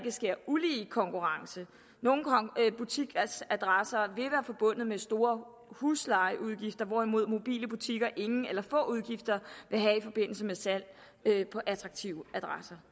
sker ulige konkurrence nogle butikadresser vil forbundet med store huslejeudgifter hvorimod mobile butikker ingen eller få udgifter vil have i forbindelse med salg på attraktive adresser